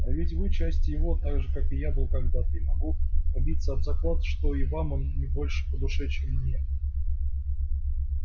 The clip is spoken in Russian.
а ведь вы часть его так же как и я был когда-то и могу побиться об заклад что и вам он не больше по душе чем мне